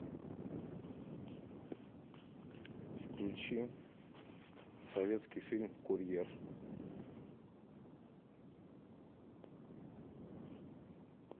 включи советский фильм курьер